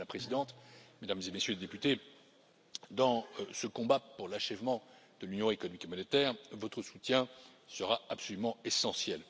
Madame la présidente, Mesdames et Messieurs les députés, dans ce combat pour l'achèvement de l'union économique et monétaire, votre soutien sera absolument essentiel.